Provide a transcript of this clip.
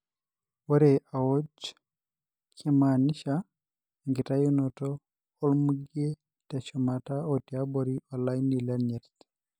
ore aoj na kimanisha enkitayunoto olmugee teshumata otiabori olaini lenyirt.